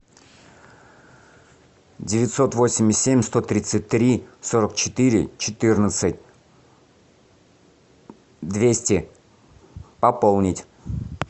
девятьсот восемьдесят семь сто тридцать три сорок четыре четырнадцать двести пополнить